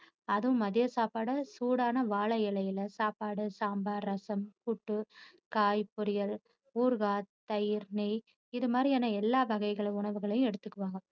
அதுவும் மதிய சாப்பாடு சூடான வாழையிலையில சாப்பாடு, சாம்பார், ரசம், புட்டு, காய், பொறியல், ஊறுகாய், தயிர், நெய் இது மாதிரியான எல்லா வகைகள் உணவுகளையும் எடுத்துக்குவாங்க.